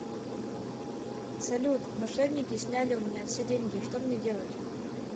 салют мошенники сняли у меня все деньги что мне делать